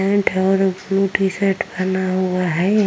Pant है और blue T shirt पहना हुआ है।